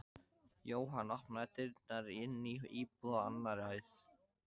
Jóhann opnaði dyrnar inn í íbúð á annarri hæð.